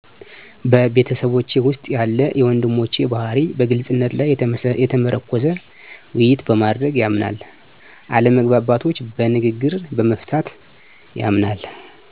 በቤተሰቤ ውስጥ ያለ የወንድሞቼ ባህርይ በግልፅነት ላይ የተመረኮዘ ውይይት በማድረግ ያምናል አለመግባባቶች በንግግር በመፍታት ያምናል።